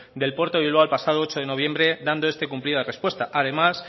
del puerto de bilbao el pasado ocho de noviembre dando este cumplida respuesta además